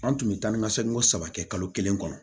An tun bɛ taa ni ka segin ko saba kɛ kalo kelen kɔnɔ